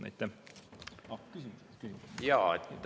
Aitäh!